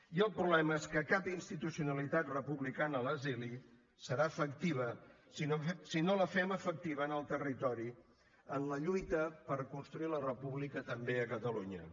i el problema és que cap institucionalitat republicana a l’exili serà efectiva si no la fem efectiva en el territori en la lluita per construir la república també a catalunya